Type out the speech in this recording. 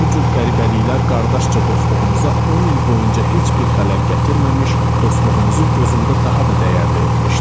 Bu cür qəribəliklər qardaşca dostluğumuza 10 il boyunca heç bir xələl gətirməmiş, dostluğumuzu gözümdə daha da dəyərli etmişdi.